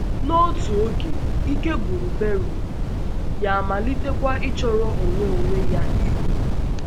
N’otu oge, ike gwụrụ Bérùk, ya amalitekwa ịchọrọ onwe onwe ya ihe ùkù.